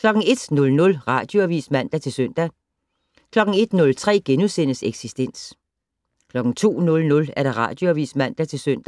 01:00: Radioavis (man-søn) 01:03: Eksistens * 02:00: Radioavis (man-søn)